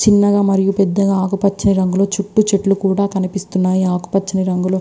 చిన్నగా మరియు పెద్దగా ఆకుపచ్చ రంగులో చుట్టూ చెట్లు కూడా కనిపిస్తున్నాయి ఆకుపచ్చని రంగులో.